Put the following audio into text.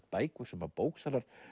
bækur sem bóksalar